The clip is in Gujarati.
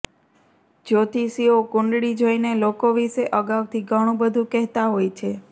જ્યોતિષીઓ કુંડળી જોઈને લોકો વિશે અગાઉથી ઘણું બધું કહેતા હોય છે